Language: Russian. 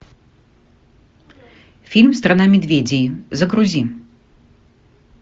фильм страна медведей загрузи